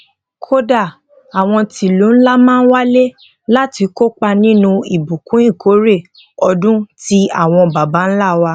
kódà àwọn ti ilu nla máa ń wale láti kópa nínú ìbùkún ìkórè odun tí àwọn baba ńlá wa